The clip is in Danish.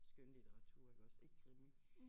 Skønlitteratur iggås ikke krimi